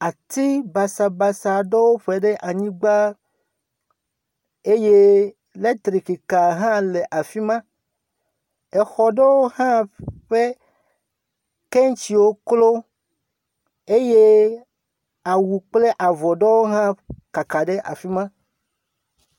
Ati basabase aɖewo ƒo ɖe anyigba eye eletrikika hã le afi ma. Xɔ aɖewo hã ƒe kanshiwo klo eye awu kple avɔ aɖewo hã kaka ɖe afi ma.